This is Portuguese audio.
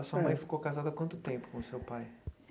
A sua Eh mãe ficou casada há quanto tempo com o seu pai?